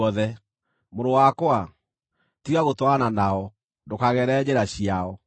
mũrũ wakwa, tiga gũtwarana nao, ndũkagerere njĩra ciao;